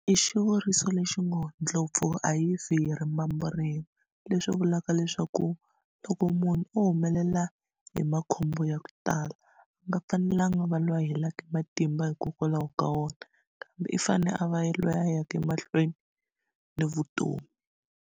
I xivuriso lexi ngo ndlopfu a yi fi hi rimbambu rin'we leswi vulaka leswaku loko munhu o humelela hi makhombo ya ku tala a nga fanelanga a va loyi a helaka e matimba hikokwalaho ka wona kambe i fane a va yelweyo a yaka emahlweni na vutomi.